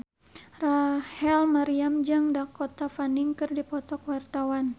Rachel Maryam jeung Dakota Fanning keur dipoto ku wartawan